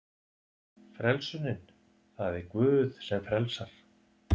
Frelsunin: Það er Guð sem frelsar.